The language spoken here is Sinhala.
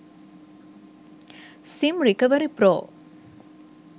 sim recovery pro